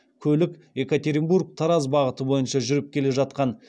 көлік екатеринбор тараз бағыты бойынша жүріп келе жатқан